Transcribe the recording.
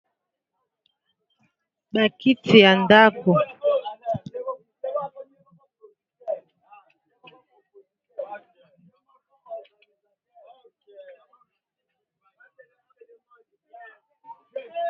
Bakiti ya ndako, bakiti ya ndako.